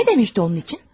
Nə demişdi onun üçün?